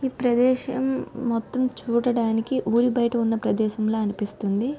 ఈ ప్రదేశం మొత్తం చూడడానికి ఊరి బయట ఉన్న ప్రదేశం లా అనిపిస్తుంది.